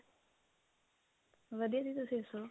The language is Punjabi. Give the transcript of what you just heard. ਵਧੀਆ ਜੀ ਤੁਸੀਂ ਦੱਸੋ